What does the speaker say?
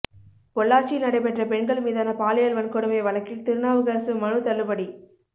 பொள்ளாச்சியில் நடைபெற்ற பெண்கள் மீதான பாலியல் வன்கொடுமை வழக்கில் திருநாவுக்கரசு மனு தள்ளுபடி